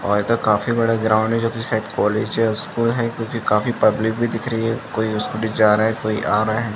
और इधर काफी बड़ा ग्राउंड है जो की शायद कॉलेज या स्कूल है क्योकि काफी पब्लिक भी दिख रही है कोई स्कूटी से जा रहा है कोई आ रहा है।